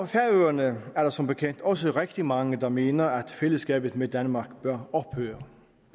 færøerne er der som bekendt også rigtig mange der mener at fællesskabet med danmark bør ophøre